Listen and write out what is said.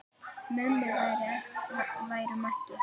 Mummi værum ekki.